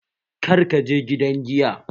Kar kaje gidan Giya!